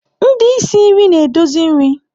Ndị isi nri na-edozi nri.